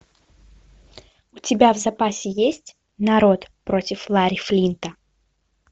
у тебя в запасе есть народ против ларри флинта